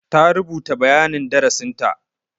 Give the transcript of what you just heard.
Ta rubuta bayanin darasinta.